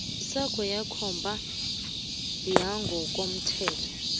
sakho sekomba yangokomthetho